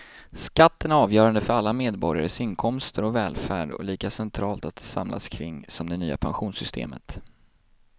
Skatten är avgörande för alla medborgares inkomster och välfärd och lika centralt att samlas kring som det nya pensionssystemet.